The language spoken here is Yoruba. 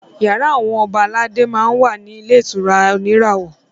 Yàrá àwọn ọba aládé máa ń wà ní ilé ìtura oníràwọ̀